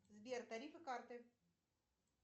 сбер тарифы карты